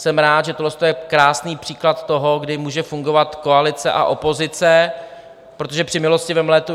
Jsem rád, že tohle je krásný příklad toho, kdy může fungovat koalice a opozice, protože při milostivém létu